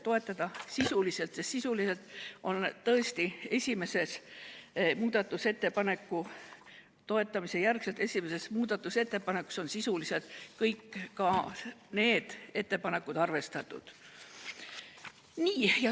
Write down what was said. Ja sisuliselt on tõesti selles ainsas lõplikus muudatusettepanekus kõik need ettepanekud arvestatud.